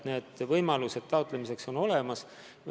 Võimalused raha taotlemiseks on neil olemas.